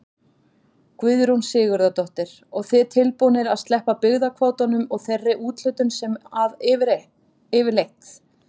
Guðrún Sigurðardóttir: Og þið tilbúnir að sleppa byggðakvótanum og þeirri úthlutun sem að yfirleitt?